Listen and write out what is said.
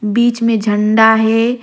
बिच में झंडा हे।